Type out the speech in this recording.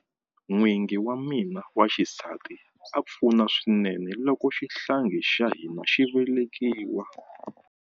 N'wingi wa mina wa xisati a pfuna swinene loko xihlangi xa hina xi velekiwa.